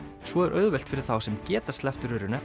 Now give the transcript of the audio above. svo er auðvelt fyrir þá sem geta sleppt